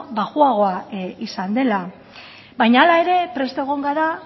baxuagoa izan dela baina hala ere prest egon gara